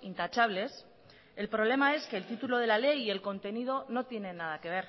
intachables el problema es que el título de la ley y el contenido no tienen nada que ver